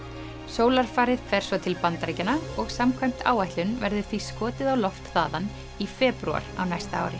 sólarfarið fer svo til Bandaríkjanna og samkvæmt áætlun verður því skotið á loft þaðan í febrúar á næsta ári